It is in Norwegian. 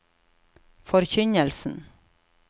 forkynnelsen